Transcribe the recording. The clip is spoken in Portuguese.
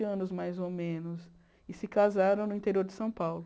vinte anos, mais ou menos, e se casaram no interior de São Paulo.